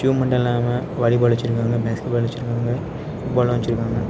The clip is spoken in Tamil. அதுமட்டுமில்லாம வாலி பால் வெச்சிருக்காங்க பேஸ்கட் பால் வெச்சிருக்காங்க ஃபுட் பால்லா வெச்சிருக்காங்க.